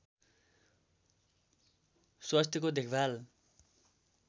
स्वास्थ्यको देखभाल